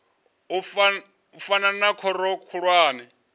u fana na khoro khulwane